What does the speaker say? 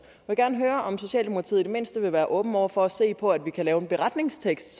vil gerne høre om socialdemokratiet i det mindste vil være åben over for at se på at vi så kan lave en beretningstekst